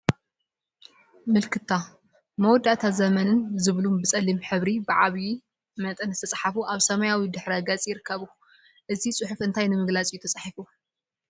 ምልክታ፣ መወዳእታን ዘመንን ዝብሉ ብፀሊም ሕብሪ ብዓብይ መጠን ዝተፃሕፉ አብ ሰማያዊ ድሕረ ገፅ ይርከቡ፡፡ እዚ ፅሑፍ እንታይ ንምግላፅ እዩ ተፃሒፉ?